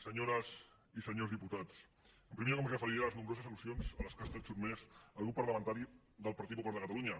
senyores i senyors diputats en primer lloc em referiré a les nombroses al·lusions a les quals ha estat sotmès el grup parlamentari del partit popular de catalunya